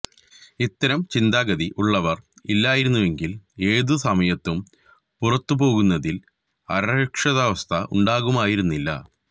ഇത്തരം ചിന്താഗതി ഉള്ളവര് ഇല്ലായിരുന്നുവെങ്കില് ഏതു സമയത്തും പുറത്തുപോകുന്നതില് അരക്ഷിതാവസ്ഥ ഉണ്ടാകുമായിരുന്നില്ല